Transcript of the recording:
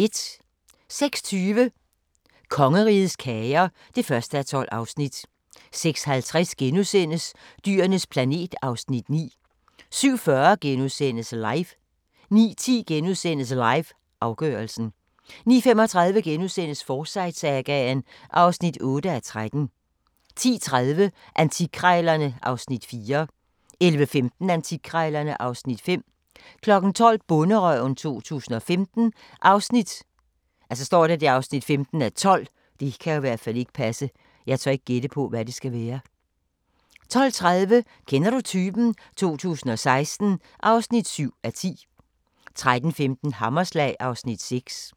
06:20: Kongerigets kager (1:12) 06:50: Dyrenes planet (Afs. 9)* 07:40: LIVE * 09:10: LIVE – afgørelsen * 09:35: Forsyte-sagaen (8:13)* 10:30: Antikkrejlerne (Afs. 4) 11:15: Antikkrejlerne (Afs. 5) 12:00: Bonderøven 2015 (15:12) 12:30: Kender du typen? 2016 (7:10) 13:15: Hammerslag (Afs. 6)